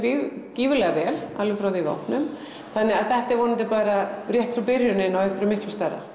gífurlega vel alveg frá því að við opnuðum þannig að þetta er vonandi bara rétt svo byrjunin á einhverju miklu stærra